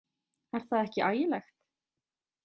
Er það ekki ægilegt?